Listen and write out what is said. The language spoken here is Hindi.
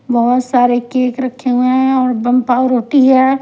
बहुत सारे केक रखे हुए हैं और बम पावर होती है।